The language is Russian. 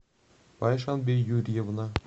пайшанбе юрьевна